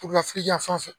yan fan fɛ